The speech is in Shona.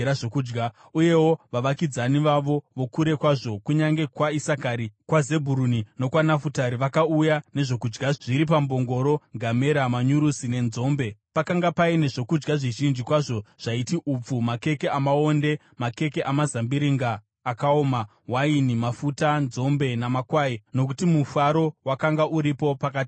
Uyewo, vavakidzani vavo vokure kwazvo kunyange kwaIsakari, kwaZebhuruni nokwaNafutari vakauya nezvokudya zviri pambongoro, ngamera, manyurusi nenzombe. Pakanga paine zvokudya zvizhinji kwazvo zvaiti upfu, makeke amaonde, makeke amazambiringa akaoma, waini, mafuta, nzombe, namakwai nokuti mufaro wakanga uripo pakati peIsraeri.